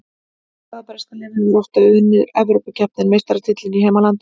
Hvaða breska lið hefur oftar unnið Evrópukeppni en meistaratitilinn í heimalandinu?